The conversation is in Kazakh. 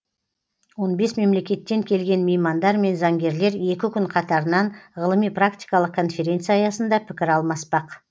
он бес мемлекеттен келген меймандар мен заңгерлер екі күн қатарынан ғылыми практикалық конференция аясында пікір алмаспақ